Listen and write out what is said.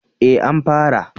Eh an fara